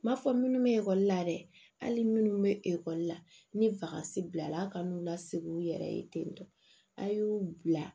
N m'a fɔ minnu bɛ ekɔli la dɛ hali minnu bɛ ekɔli la ni fasi bilala a kan n'u lase u yɛrɛ ye ten tɔ a' y'u bila